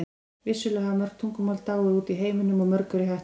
Vissulega hafa mörg tungumál dáið út í heiminum og mörg eru í hættu.